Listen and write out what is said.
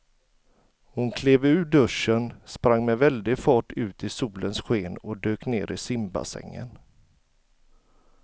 Hon klev ur duschen, sprang med väldig fart ut i solens sken och dök ner i simbassängen.